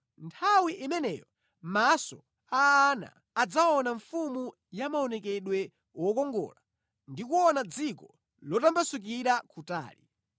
Nthawi imeneyo maso a ana adzaona mfumu ya maonekedwe wokongola ndi kuona dziko lotambasukira kutali.